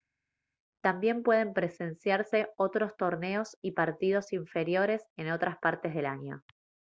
también pueden presenciarse otros torneos y partidos inferiores en otras partes del año